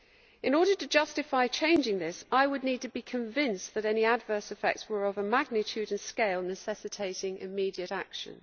In order to justify changing these, I would need to be convinced that any adverse effects were of a magnitude and scale necessitating immediate action.